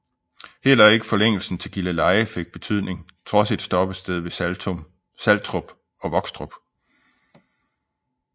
Heller ikke forlængelsen til Gilleleje fik betydning trods et stoppested ved Saltrup og Vokstrup